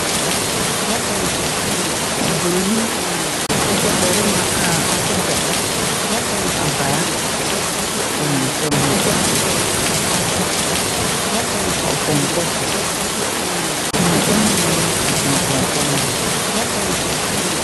Ɔbroni barima a ɔkita abaa wɔ ne nsam na ɔte ɔpɔnkɔ so na ne neɛma sensene pɔnkɔ no ho.